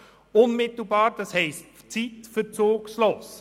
Unmittelbar heisst zeitverzugslos.